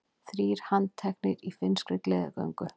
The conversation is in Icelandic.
Þrír handteknir í finnskri gleðigöngu